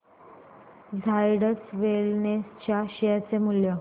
Zydus Wellness च्या share चे मूल्य